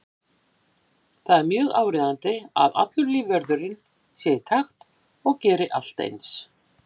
Það er mjög áríðandi að allur lífvörðurinn sé í takt og geri allt eins.